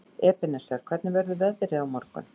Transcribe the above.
Ebeneser, hvernig er veðrið á morgun?